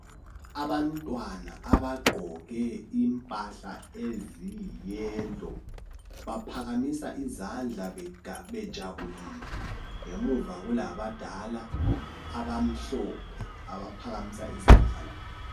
Abantwana abagqoke impahla eziyi yelo, baphakamisa izandla bejabulile. Ngemuva kulabadala abamhlophe abaphakamisa izandla labo.